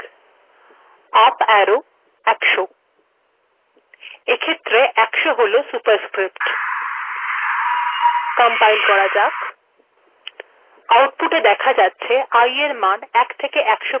i সমানচিহ্ন ১ up arrow ১০০ েখত্ের ১০০ হল সুপারস্ক্িরপ্ট্আউটপুট্এ েদখা যাক iএর মান ১ েথেক ১০০ পর্যন্ত েযকোনো সংখ্যা হেত পাের